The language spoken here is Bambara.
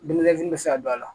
bɛ se ka don a la